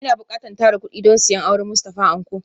Ina bukatan tara kudi don siyan auren Mustafa Anko